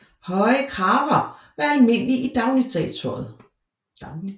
Høje kraver var almindelige i dagligtøjet